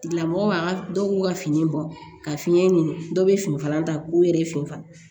Tigilamɔgɔ dɔw b'u ka fini bɔn ka fiɲɛ ɲini dɔw bɛ finikala ta k'u yɛrɛ ye fini fara